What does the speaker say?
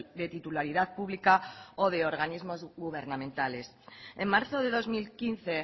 de titularidad pública o de organismos gubernamentales en marzo de dos mil quince